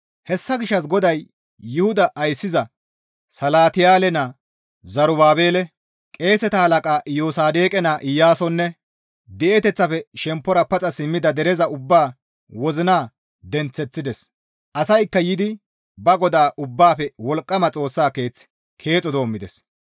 Hessa gishshas GODAY Yuhuda ayssiza Salatiyaale naa Zerubaabele, qeeseta halaqa Iyosaadoqe naa Iyaasonne di7eteththafe shemppora paxa simmida dereza ubbaa wozina denththeththides. Asaykka yiidi ba GODAA Ubbaafe Wolqqama Xoossa keeth keexo doommides.